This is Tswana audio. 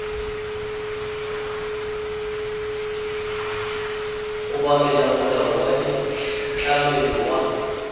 obamela molao wa ditlamo wa